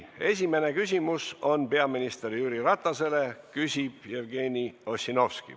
Esimene küsimus on peaminister Jüri Ratasele, küsib Jevgeni Ossinovski.